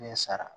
sara